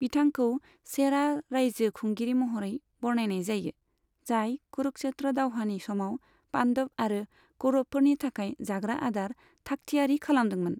बिथांखौ चेरा रायजो खुंगिरि महरै बरनायनाय जायो, जाय कुरुक्षेत्र दावहानि समाव पान्डब आरो कौरबफोरनि थाखाय जाग्रा आदार थाखथियारि खालादोंमोन।